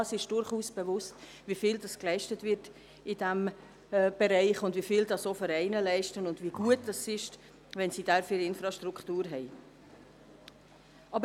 Ja, es ist uns durchaus bewusst, wie viel in diesem Bereich geleistet wird, wie viel auch die Vereine leisten und wie gut es ist, wenn sie dafür Infrastruktur zur Verfügung haben.